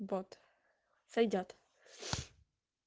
вот сойдёт